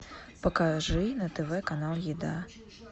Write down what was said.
покажи на тв канал еда